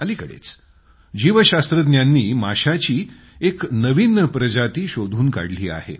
अलिकडेच जीवशास्त्रज्ञांनी माशाची एक नवीन प्रजाती शोधून काढली आहे